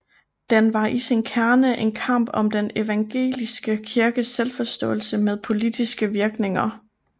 Den var i sin kerne en kamp om den evangeliske kirkes selvforståelse med politiske virkninger